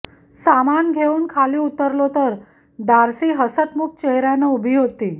सामान घेऊन खाली उतरलो तर डार्सी हसतमुख चेहऱ्यानं उभी होती